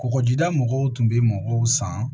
Kɔgɔjida mɔgɔw tun bɛ mɔgɔw san